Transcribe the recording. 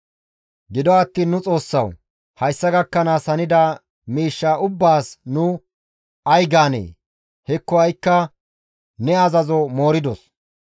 «Gido attiin nu Xoossawu! Hayssa gakkanaas hanida miishshaa ubbaas nu ay gaanee? Hekko ha7ikka ne azazo mooridos.